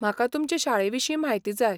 म्हाका तुमचे शाळेविशीं म्हायती जाय.